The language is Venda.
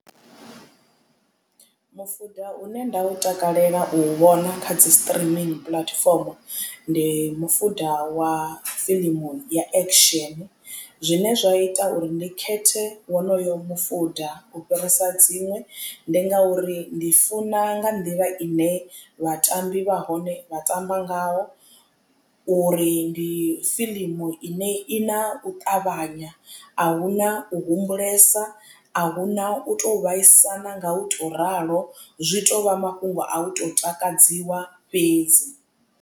Mufuda une nda u takalela u vhona kha dzi streaming platform ndi mufuda wa fiḽimu ya action zwine zwa ita uri ndi khethe wonoyo mufuda u fhirisa dziṅwe ndi ngauri ndi funa nga nḓila ine vhatambi vha hone vha tamba ngayo uri ndi fiḽimu ine i na u ṱavhanya ahuna u humbulesa ahuna u to vhaisana nga u to ralo zwi tovha mafhungo a u to takadziwa fhedzi.